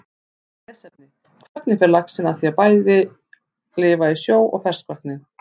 Meira lesefni: Hvernig fer laxinn að því að lifa bæði í sjó og ferskvatni?